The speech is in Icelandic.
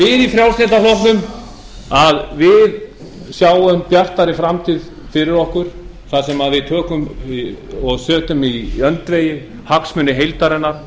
við í frjálslynda flokknum sjáum bjartari framtíð fyrir okkur þar sem við setjum í öndvegi hagsmuni heildarinnar